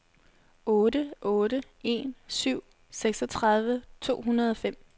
otte otte en syv seksogtredive to hundrede og fem